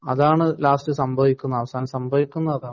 അതാണ് ലാസ്‌റ് സംഭവിക്കുന്നത് അവസാനം സംഭവിക്കുന്നത് അതാണ്